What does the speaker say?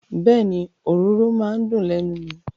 Bẹ́ẹ̀ni, òróró maa n dùn lẹ́nu mi.